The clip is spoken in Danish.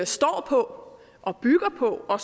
står på og bygger på og